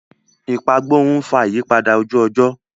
Ìpagbórun ń fà ìyípadà ojú-ọjọ́.